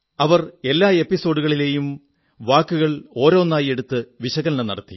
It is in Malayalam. അവർ എല്ലാ എപ്പിസോഡുകളെയും വാക്കുവാക്കായി വിശകലനം നടത്തി